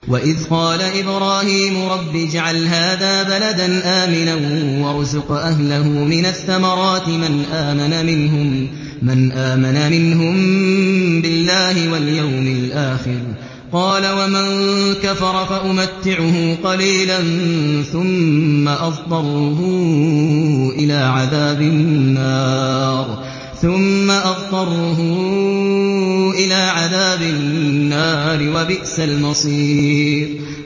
وَإِذْ قَالَ إِبْرَاهِيمُ رَبِّ اجْعَلْ هَٰذَا بَلَدًا آمِنًا وَارْزُقْ أَهْلَهُ مِنَ الثَّمَرَاتِ مَنْ آمَنَ مِنْهُم بِاللَّهِ وَالْيَوْمِ الْآخِرِ ۖ قَالَ وَمَن كَفَرَ فَأُمَتِّعُهُ قَلِيلًا ثُمَّ أَضْطَرُّهُ إِلَىٰ عَذَابِ النَّارِ ۖ وَبِئْسَ الْمَصِيرُ